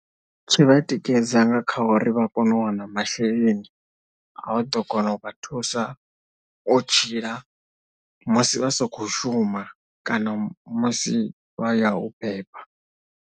Zwi vha tikedza nga kha uri vha kone u wana masheleni a u ḓo kona u vha thusa u tshila musi vha sokou shuma kana musi vha ya u beba.